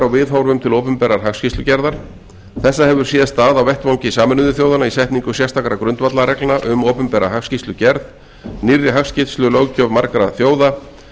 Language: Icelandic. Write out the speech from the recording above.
viðhorfum til opinberrar hagskýrslugerðar þessa hefur séð stað á vettvangi sameinuðu þjóðanna í setningu sérstakra grundvallarreglna um opinbera hagskýrslugerð nýrri hagskýrslulöggjöf margra þjóða